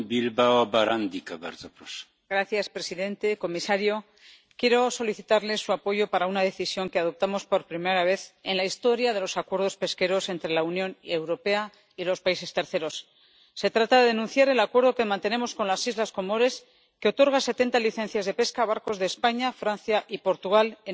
Señor presidente, señor comisario, quiero solicitarles su apoyo para una decisión que adoptamos por primera vez en la historia de los acuerdos pesqueros entre la Unión Europea y terceros países se trata de denunciar el Acuerdo que mantenemos con las islas Comoras, que otorga setenta licencias de pesca a barcos de España, Francia y Portugal en aguas de estas islas.